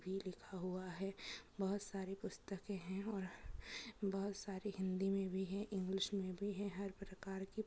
भी लिखा हुआ है और बहुत सारे पुस्तक है और बहुत सारे हिंदी में है और इंग्लिश में की हर प्रकार में--